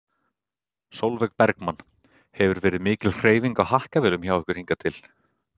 Sólveig Bergmann: Hefur verið mikil hreyfing á hakkavélum hjá ykkur hingað til?